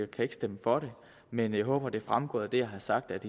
kan ikke stemme for det men jeg håber at det er fremgået af det jeg har sagt at